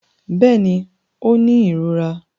Bẹ́ẹ̀ni, ó ń ní ìrora